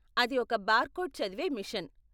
అది ఒక బార్కోడ్ చదివే మిషన్.